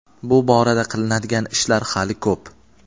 bu borada qilinadigan ishlar hali ko‘p.